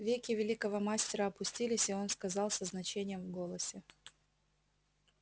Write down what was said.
веки великого мастера опустились и он сказал со значением в голосе